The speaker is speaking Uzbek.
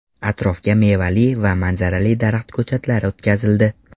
Atrofga mevali va manzarali daraxt ko‘chatlari o‘tkazildi.